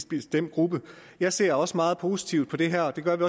bestemt gruppe jeg ser også meget positivt på det her det gør vi